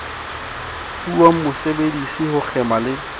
fuwang mosebedisi ho kgema le